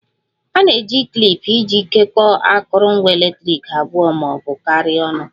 A na-eji klip iji jikọọ akụrụngwa eletriki abụọ ma ọ bụ karịa ọnụ